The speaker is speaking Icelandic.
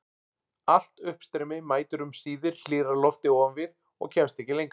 Allt uppstreymi mætir um síðir hlýrra lofti ofan við og kemst ekki lengra.